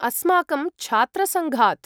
अस्माकं छात्रसङ्घात्।